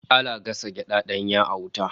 Ana gasa gyada danya a wuta